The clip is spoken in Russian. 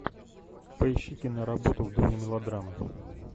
поищи киноработу в доме мелодрамы